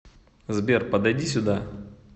сбер подойди сюда